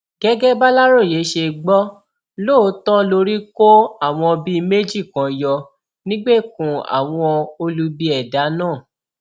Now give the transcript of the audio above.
gẹgẹ bàlàròyé ṣe gbọ lóòótọ lórí kó àwọn bíi méjì kan yọ nígbèkùn àwọn olubi ẹdá náà